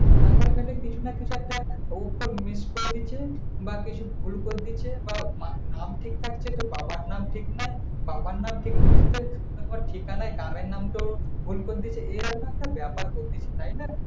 আধার-কার্ড এ কিছু না কিছু একটা উচ্চরন miss করেছে বা কিছু ভুল করে দিয়েছে। তাউ নাম ঠিক থাকছে তো বাবার নাম ঠিক নাই। বাবার নাম নাম ঠিক থাকছে তো তোমার ঠিকানয় গ্রামের নামতো ভুল করে দিয়েছে। এরকম একটা ব্যাপার করছে তাই না?